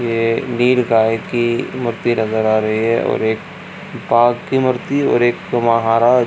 ये नीलगाय की मूर्ति नजर आ रही है और एक बाघ की मूर्ति और एक --